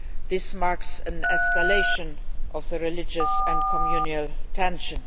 This marks an escalation of the religious and communal tension.